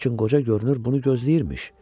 Lakin qoca görünür bunu gözləyirmiş.